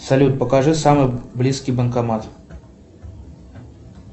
салют покажи самый близкий банкомат